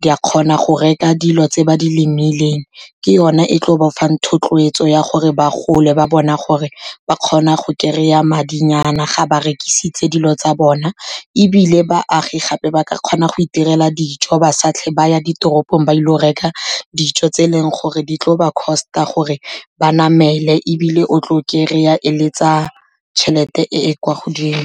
di a kgona go reka dilo tse ba di lemileng. Ke yone e tlo bafang thotloetso, ya gore ba gole ba bona gore ba kgona go kry-a madinyana ga ba rekisitse dilo tsa bona. Ebile baagi gape ba ka kgona go itirela dijo, ba sa tlhole ba ya ditoropong, ba ile go reka dijo tse e leng gore di tlo ba cost-a gore ba namele, ebile o tlo kry-a e le tsa tšhelete e e kwa godimo.